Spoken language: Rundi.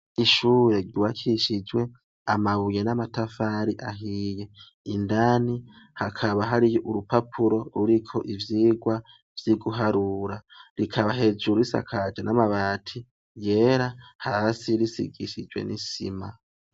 Ishure ryubakishijwe amabuye n’amatafari ahiye indani hakaba hari urupapuro ruriko ivyirwa vyo guharura rikaba hejuru isakajwe n’amati yera hasi bisigishijwe n’isima.